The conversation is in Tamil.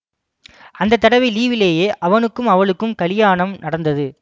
அந்த தடவை லீவிலேயே அவனுக்கும் அவளுக்கும் கலியாணம் நடந்தது